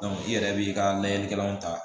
i yɛrɛ b'i ka layɛlikɛlaw ta